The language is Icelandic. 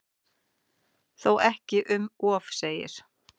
Þó ekki um of segir